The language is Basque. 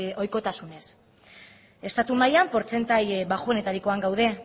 ohikotasunez estatu mailan portzentaje baxuenetarikoan gaude